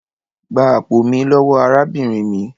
Gbá àpò mi lówó arábìnrin mí!